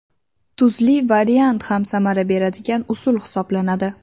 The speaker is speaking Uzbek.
Tuzli variant ham samara beradigan usul hisoblanadi.